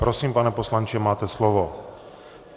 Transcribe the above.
Prosím, pane poslanče, máte slovo.